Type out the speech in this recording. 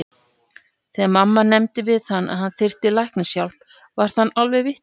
Þegar mamma nefndi við hann að hann þyrfti læknishjálp varð hann alveg vitlaus.